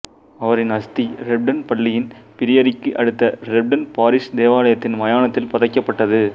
அவரது அஸ்தி ரெப்டன் பள்ளியின் பிரியரிக்கு அடுத்த ரெப்டன் பாரிஷ் தேவாலயத்தின் மயானத்தில் புதைக்கப்பட்டது